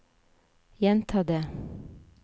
gjenta det